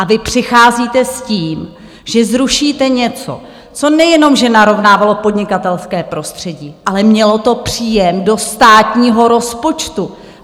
A vy přicházíte s tím, že zrušíte něco, co nejenom že narovnávalo podnikatelské prostředí, ale mělo to příjem do státního rozpočtu.